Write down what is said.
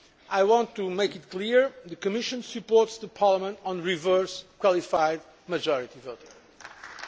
I want to make it clear that the Commission supports Parliament on reverse qualified majority voting.